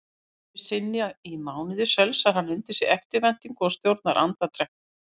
Einusinni í mánuði sölsar hann undir sig eftirvæntingu og stjórnar andardrætti.